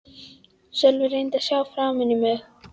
Sölvi reyndi að sjá framan í mig.